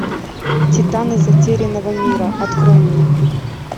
титаны затерянного мира открой мне